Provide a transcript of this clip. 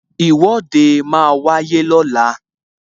Ìwọ́de máa wáyé lọ́la